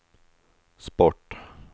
sport